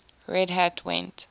red hat went